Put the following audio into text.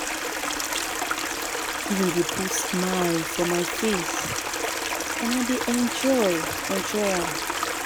Giving dey put smile for my face and I dey enjoy enjoy am.